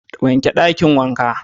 Wake Dakin wanka